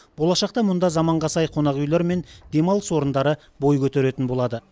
болашақта мұнда заманға сай қонақүйлер мен демалыс орындары бой көтеретін болады